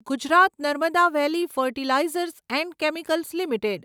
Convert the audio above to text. Gujarat Narmada valley fertilizers and chemicals limited